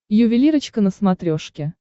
ювелирочка на смотрешке